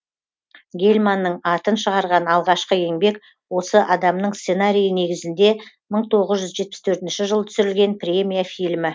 гельманның атын шығарған алғашқы еңбек осы адамның сценарийі негізінде мың тоғыз жүз жетпіс төртінші жылы түсірілген премия фильмі